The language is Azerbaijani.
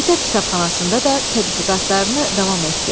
Məktəb kitabxanasında da tədqiqatlarını davam etdir.